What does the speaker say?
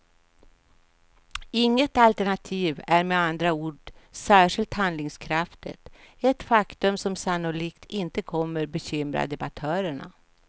Inget alternativ är med andra ord särskilt handlingskraftigt, ett faktum som sannolikt inte kommer bekymra debattörerna.